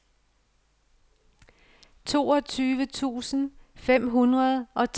toogtyve tusind fem hundrede og treogfirs